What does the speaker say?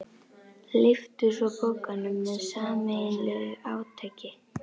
Lyftu svo pokanum með sameiginlegu átaki.